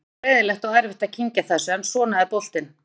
Þetta var leiðinlegt og erfitt að kyngja þessu en svona er boltinn.